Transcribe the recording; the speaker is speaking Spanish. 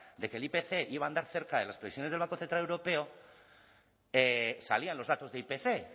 de que el ipc iba a andar cerca de las previsiones del banco central europeo salían los datos de ipc